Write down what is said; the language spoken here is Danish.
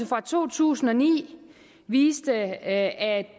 fra to tusind og ni viser at at